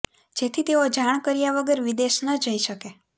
જેથી તેઓ જાણ કર્યા વગર વિદેશ ન જઈ શકે